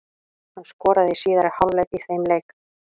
Hann skoraði í síðari hálfleik í þeim leik.